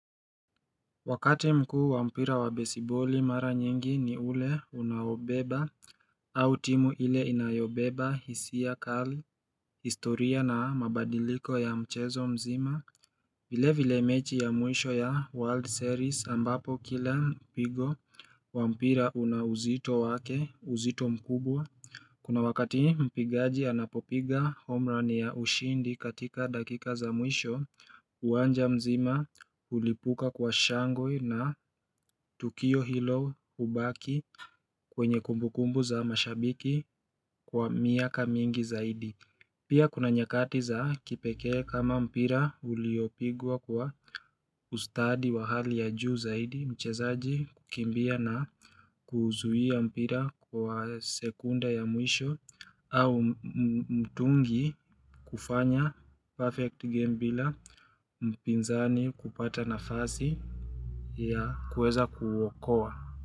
Wakati mkuu wa mpira wa baseballi mara nyingi ni ule unaobeba au timu ile inayobeba hisiya kali historia na mabadiliko ya mchezo mzima vile vile mechi ya mwisho ya world series ambapo kila mpigo wa mpira una uzito wake uzito mkubwa Kuna wakati mpigaji anapopiga omrani ya ushindi katika dakika za mwisho uwanja mzima ulipuka kwa shangwe na tukio hilo ubaki kwenye kumbukumbu za mashabiki kwa miaka mingi zaidi Pia kuna nyakati za kipekee kama mpira uliopigwa kwa ustadi wa hali ya juu zaidi mchezaji kukimbia na kuzuhia mpira kwa sekunda ya mwisho au mtungi kufanya perfect game bila mpinzani kupata na fasi ya kuweza kuwokowa.